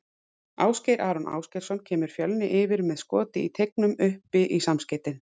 Ásgeir Aron Ásgeirsson kemur Fjölni yfir með skoti í teignum upp í samskeytin.